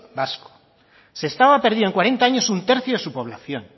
vasco sestao ha perdido en cuarenta años un tercio de su población